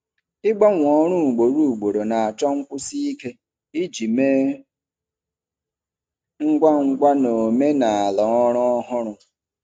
Ịgbanwe ọrụ ugboro ugboro na-achọ nkwụsi ike iji mee ngwa ngwa na omenala ọrụ ọhụrụ.